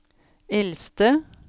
eldste